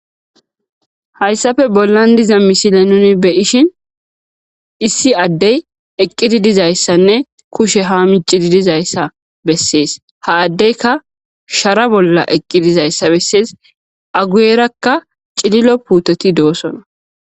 Hayssafe bollan diza misile nuni beyishin issi addey eqqidi dizayssanne kushe ha miccidi dizayssa bessees ha addeyka shara bolla eqqi dizayssa bessees aguyerakka cililo puutoti doosona.